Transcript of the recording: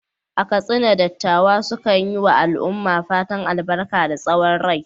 A Katsina, dattawa sukan yi wa al’umma fatan albarka da tsawon rai.